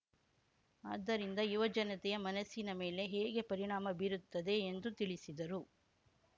ಅದ್ದರಿಂದ ಯುವಜನತೆಯ ಮನಸ್ಸಿನ ಮೇಲೆ ಹೇಗೆ ಪರಿಣಾಮ ಬೀರುತ್ತದೆ ಎಂದು ತಿಳಸಿದರು